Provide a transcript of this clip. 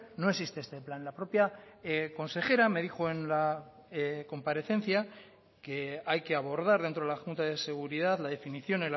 no existe este plan la propia consejera me dijo en la comparecencia que hay que abordar dentro de la junta de seguridad la definición